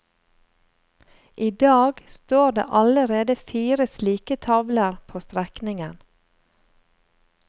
I dag står det allerede fire slike tavler på strekningen.